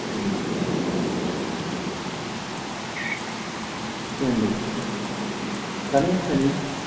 வேண்டும் வேண்டும் கணேசனின்